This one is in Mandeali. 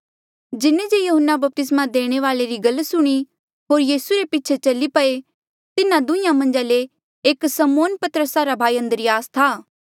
जिन्हें जे यहून्ना बपतिस्मा देणे वाल्ऐ री गल सुणी होर यीसू रे पीछे चली पये तिन्हा दूहीं मन्झा ले एक समौन पतरसा रा भाई अन्द्रियास था